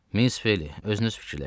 Miss Ophelia, özünüz düşünün.